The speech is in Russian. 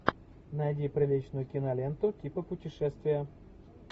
найди приличную киноленту типа путешествия